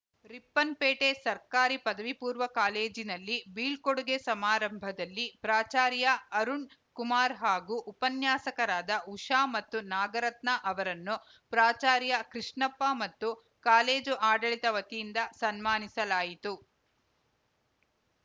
ರಿಪ್ಪನ್‌ಪೇಟೆ ಸರ್ಕಾರಿ ಪದವಿಪೂರ್ವ ಕಾಲೇಜಿನಲ್ಲಿ ಬೀಳ್ಕೋಡುಗೆ ಸಮಾರಂಭದಲ್ಲಿ ಪ್ರಾಚಾರ್ಯ ಅರುಣ್‌ಕುಮಾರ್‌ ಹಾಗೂ ಉಪನ್ಯಾಸಕರಾದ ಉಷಾ ಮತ್ತು ನಾಗರತ್ನ ಅವರನ್ನು ಪ್ರಾಚಾರ್ಯ ಕೃಷ್ಣಪ್ಪ ಮತ್ತು ಕಾಲೇಜು ಆಡಳಿತ ವತಿಯಿಂದ ಸನ್ಮಾನಿಸಲಾಯಿತು